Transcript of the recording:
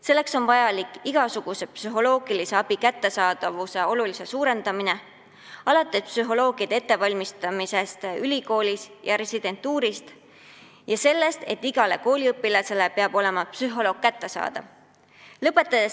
Selleks on vaja muuta igasugune psühholoogiline abi märksa kättesaadavamaks – alates psühholoogide ettevalmistamisest ülikoolis ja lõpetades sellega, et iga kooliõpilane peab saama psühholoogilt nõu küsida.